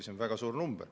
See on väga suur arv.